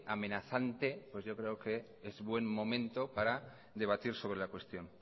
amenazante pues yo creo que es buen momento para debatir sobre la cuestión